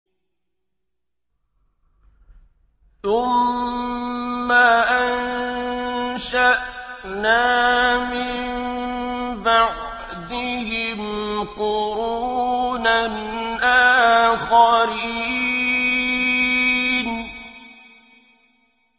ثُمَّ أَنشَأْنَا مِن بَعْدِهِمْ قُرُونًا آخَرِينَ